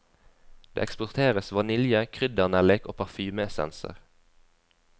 Det eksporteres vanilje, kryddernellik og parfymeessenser.